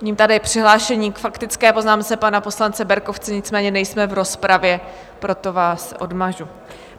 Vidím tady přihlášení k faktické poznámce pana poslance Berkovce, nicméně nejsme v rozpravě, proto vás odmažu.